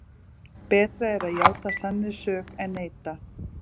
Betra er að játa sannri sök en neita.